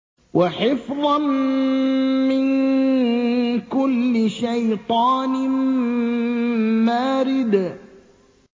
وَحِفْظًا مِّن كُلِّ شَيْطَانٍ مَّارِدٍ